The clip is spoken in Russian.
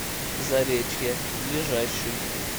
заречье ближайший